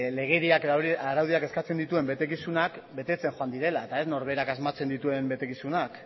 legediak edo araudiak eskatzen dituen betekizunak betetzen joan direla eta ez norberak asmatzen dituen betekizunak